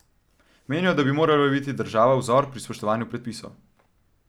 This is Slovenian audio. Menijo, da bi morala biti država vzor pri spoštovanju predpisov.